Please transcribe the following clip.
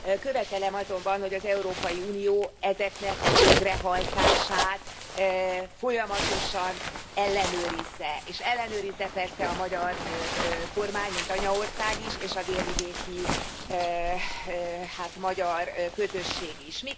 Követelem azonban, hogy az Európai Unió ezeknek a végrehajtását folyamatosan ellenőrizze, és ellenőrizze persze a magyar kormány, mint anyaország is, és a délvidéki magyar közösség is.